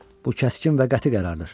Bu kəskin və qəti qərardır.